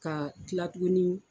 Ka kila tuguni